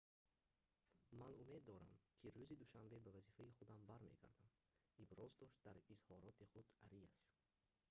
ман умед дорам ки рӯзи душанбе ба вазифаи худам бармегардам,» – иброз дошт дар изҳороти худ ариас